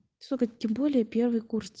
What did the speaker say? сука тем более первый курс